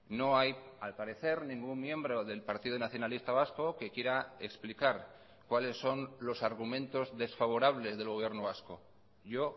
no hay al parecer ningún miembro del partido nacionalista vasco que quiera explicar cuáles son los argumentos desfavorables del gobierno vasco yo